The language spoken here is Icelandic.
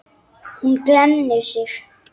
Hún glennir sig.